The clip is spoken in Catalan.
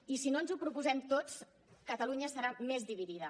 i si no ens ho proposem tots catalunya estarà més dividida